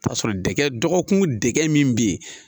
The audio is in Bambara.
Taa sɔrɔ dɛgɛ dɔgɔkun dɛgɛ min be yen.